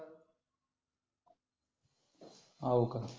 हो का